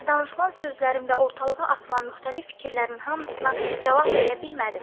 Əlbəttə, danışılan sözlərin və ortalığa atılan müxtəlif fikirlərin hamısına cavab verə bilmədim.